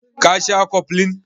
Ka sha koflin?